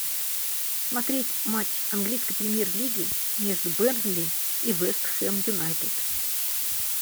смотреть матч английской премьер лиги между бернли и вест хэм юнайтед